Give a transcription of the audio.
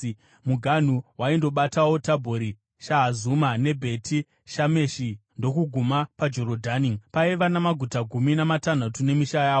Muganhu waindobatawo Tabhori, Shahazuma, neBheti Shameshi ndokuguma paJorodhani. Paiva namaguta gumi namatanhatu nemisha yawo.